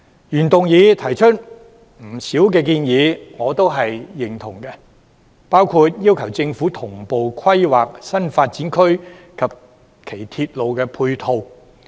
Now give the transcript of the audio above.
原議案提出的不少建議，我都是認同的，包括要求政府同步規劃新發展區及其鐵路配套。